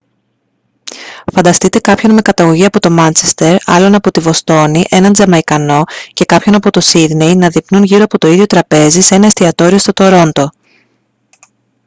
φανταστείτε κάποιον με καταγωγή από το μάντσεστερ άλλον από τη βοστώνη έναν τζαμαϊκανό και κάποιον από το σίδνεϊ να δειπνούν γύρω από το ίδιο τραπέζι σε ένα εστιατόριο στο τορόντο